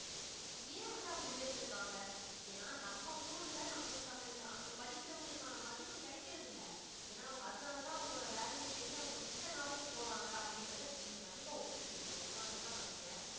ஏன் வந்து அப்படி உயர்ந்துருக்காங்க? ஏன்னா நம்ம ஊர்ல நம்மளுக்கு அந்த வித~ அந்த படிக்கிறவங்களுக்கான மதிப்பு கிடைக்கிறதில்லை. ஏன்னா அவங்க அதனாலதான் அவங்களோட வேலையை தேடி அவங்க மிச்ச நாடுக்கு போறாங்க அப்படின்றத நீங்க கண்டிப்பா ஒத்துப்பீங்க நீங்க ஒத்துக்காம இருக்க மாட்டீங்க